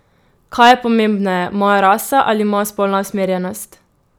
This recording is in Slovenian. Kaj je pomembneje, moja rasa ali moja spolna usmerjenost?